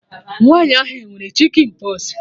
Nwaanyi ahụ e nwere chikịn pọs?